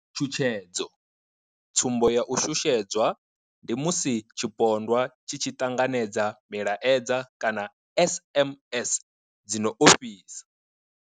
Tshutshedzo, Tsumbo ya u shushedzwa ndi musi tshipondwa tshi tshi ṱanganedza milaedza kana SMS dzi no ofhisa.